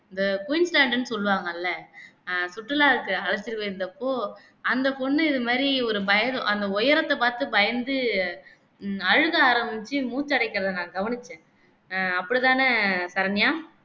இந்த குயின் சேண்ட்ன்னு சொல்லுவாங்கல்ல அஹ் சுற்றுலாவுக்கு அழைத்து போயிருந்தப்போ அந்த பொண்ணு இது மாதிரி ஒரு பயறு அந்த உயரத்தை பார்த்து பயந்து அழுகை ஆரம்பிச்சு மூச்சு அடைக்கிறதை நான் கவனிச்சேன் அஹ் அப்படித்தானே சரண்யா